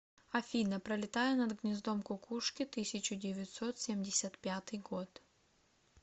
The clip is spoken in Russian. афина пролетая над гнездом кукушки тысячу девятьсот семьдесят пятый год